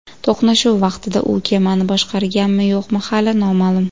To‘qnashuv vaqtida u kemani boshqarganmi, yo‘qmi hali noma’lum.